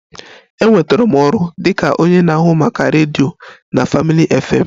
Enwetara m ọrụ dị ka onye na-ahụ maka redio na Family FM